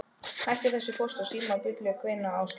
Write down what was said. Hættu þessu Póst og Síma bulli kveinaði Áslaug.